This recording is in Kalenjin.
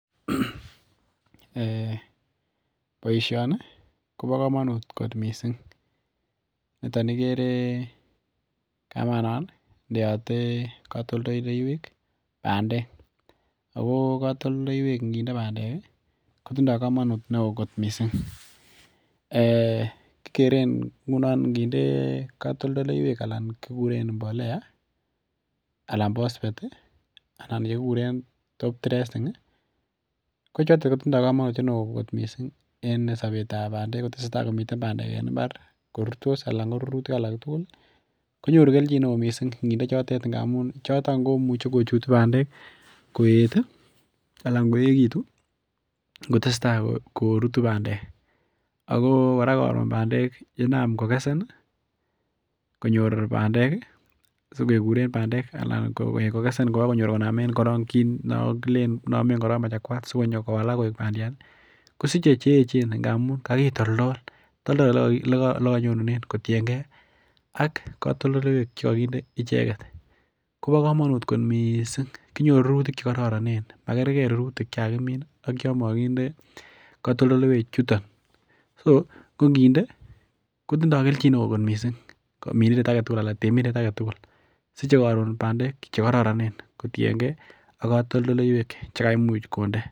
Ee boisioni kobo komonut kot missing' noton ikere kamanon indeote kotondoleiwek bandek, ako kotondoleiwek inginde bandek kotindo komonut neo kot missing' ee kikeren nguno inginde kotondoleiwek alan kikuren mbolea alan phosphate ii anan chekikuren top dressing ii, kochoton kotindo komonutiet neo kot missing' en sobetab bandek kotesetaa bandek komiten en imbar korurtos anan korurutik alak tugul ii konyoru keljin neo missing' inginde chotet ngamun choton komuche kochutu bandek koet ii alan koekitun ngotesetaa korutu bandek ako koraa koron bandek yenam kokesen ii konyor bandek ii sikekuren bandek alan kokesen kokokonyor bandek kit no kilen inomen korong machakwat sikonyo kowalak koik bandiat ii, kosiche cheechen ngamun kakitoldol toldol elekonyonune kotiengee ak kotondoleiwek chekokinde icheket, kobo komonut kot missing' kinyoru rurutik chekororonen makerker rurutik chekakimin ak chon mokinde kotondoleiwek chuton , so konginde kotindo keljin neo kot missing' minindet aketugul alan temindet siche koron bandek chekororonen kotiengee ak kotondoleiwek chekaimucj konde.